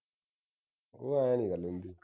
ਉਹ ਐ ਨਹੀਂ ਗੱਲ ਹੁੰਦੀ